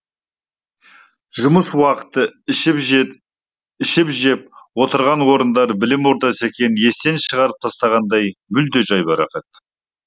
жұмыс уақыты ішіп жеп ішіп жеп отырған орындары білім ордасы екенін естен шығарып тастағандай мүлде жайбарақат